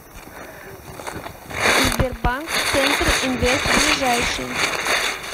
сбер банк центр инвест ближайший